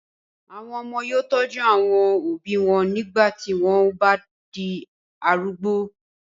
àwọn ọmọ yóò tọ́jú àwọn òbí wọn nígbà tí wọn o bá di arúgbó